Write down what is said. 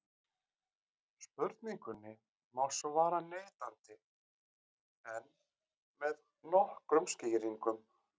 spurningunni má svara neitandi en með nokkrum skýringum